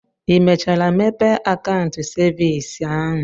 Ị mechara mepee akaụntụ cevins ahụ?